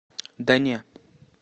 да не